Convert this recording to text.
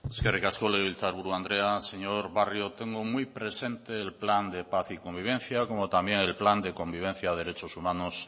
eskerrik asko legebiltzarburu andrea señor barrio tengo muy presente el plan de paz y convivencia como también el plan de convivencia derechos humanos